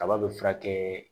Kaba be furakɛ